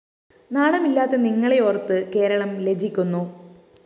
നാണമില്ലാത്ത നിങ്ങളെയോര്‍ത്ത് കേരളം ലജ്ജിക്കുന്നു